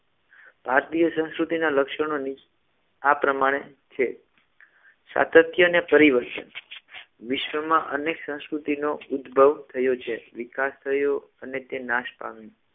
ભારતીય સંસ્કૃતિના લક્ષણોની આ પ્રમાણે છે સાતત્ય અને પરિવર્તન વિશ્વમાં અનેક સંસ્કૃતિનો ઉદભવ થયો છે વિકાસ થયો અને તે નાશ પામ્યો.